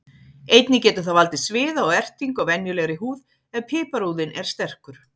Einnig getur það valdið sviða og ertingu á venjulegri húð ef piparúðinn er sterkur.